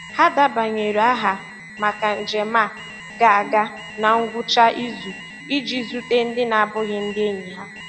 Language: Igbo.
Ha debanyere aha maka njem a ga-aga na ngwụcha izu iji zute ndị na-abụghị ndị enyi ha.